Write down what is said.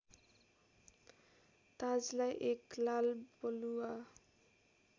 ताजलाई एक लालबलुआ